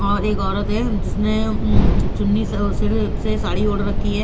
एक औरत है जिसने मम चुन्नी सिर से साड़ी ओड़ रखी है।